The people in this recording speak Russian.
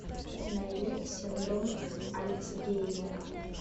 найди синдром альцгеймера